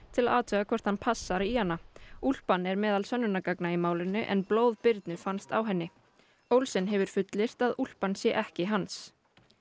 til að athuga hvort hann passar í hana úlpan er meðal sönnunargagna í málinu en blóð Birnu fannst á henni Olsen hefur fullyrt að úlpan sé ekki hans